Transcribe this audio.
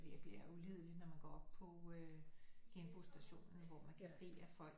Virkelig er ulideligt når man går op på øh genbrugsstationen hvor man kan se at folk